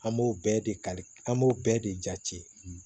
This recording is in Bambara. An b'o bɛɛ de kali an b'o bɛɛ de jate